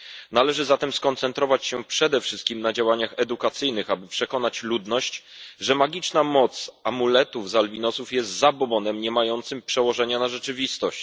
Należy zatem skoncentrować się przede wszystkim na działaniach edukacyjnych, aby przekonać ludność, że magiczna moc amuletów z albinosów jest zabobonem niemającym przełożenia na rzeczywistość.